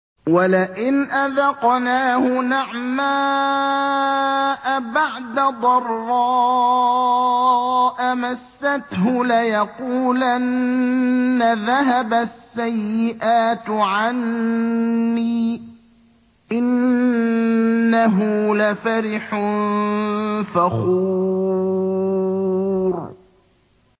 وَلَئِنْ أَذَقْنَاهُ نَعْمَاءَ بَعْدَ ضَرَّاءَ مَسَّتْهُ لَيَقُولَنَّ ذَهَبَ السَّيِّئَاتُ عَنِّي ۚ إِنَّهُ لَفَرِحٌ فَخُورٌ